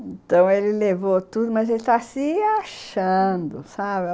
Então, ele levou tudo, mas ele está se achando, sabe?